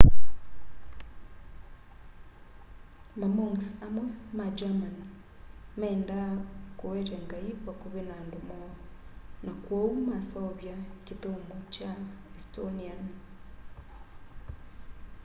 mamonks amwe ma german meenda kũete ngaĩ vakũvĩ na andũ moo na kwoũ maseũvya kĩthyomo kya estonĩan